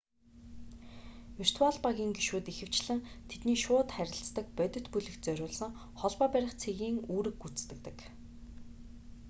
виртуал багийн гишүүд ихэвчлэн тэдний шууд харилцдаг бодит бүлэгт зориулсан холбоо барих цэгийн үүрэг гүйцэтгэдэг